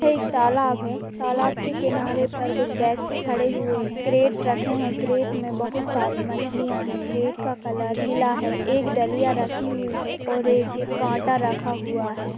यह एक तालाब है तालाब के किनारे पर कुछ ब्यक्ति खड़े हुए हैं| कैरेट रखे हैं कैरेट में बहुत सारी मछलियां है कैरेट का कलर पीला है एक डलिया रखी हुई है और एक कांटा रखा हुआ है।